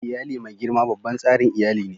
Iyali mai girma babban tsarin iyali ne.